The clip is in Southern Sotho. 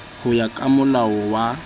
ho ya ka molao wa